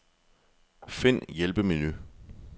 Find hjælpemenu.